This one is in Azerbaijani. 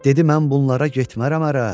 Dedi: mən bunlara getmərəm ərə.